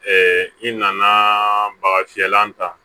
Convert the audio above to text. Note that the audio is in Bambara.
i nana baga fiyɛlan ta